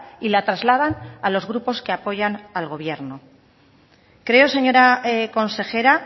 y la trasladan a los grupos que apoyan al gobierno creo señora consejera